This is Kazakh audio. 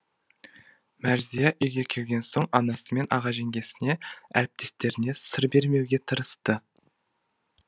мәрзия үйге келген соң анасы мен аға жеңгесіне әріптестеріне сыр бермеуге тырысты